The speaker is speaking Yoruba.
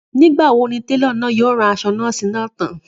Nígbà ni télọ̀ náà yóò rán aṣọ nọ́ọ̀sì náà tán